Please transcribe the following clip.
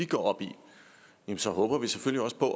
går op i så håber vi selvfølgelig